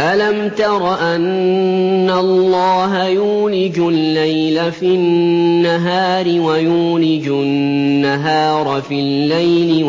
أَلَمْ تَرَ أَنَّ اللَّهَ يُولِجُ اللَّيْلَ فِي النَّهَارِ وَيُولِجُ النَّهَارَ فِي اللَّيْلِ